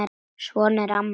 Svona er amma.